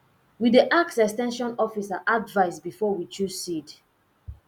we dey ask ex ten sion officer advice before we choose seed